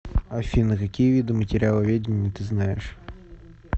афина какие виды материаловедение ты знаешь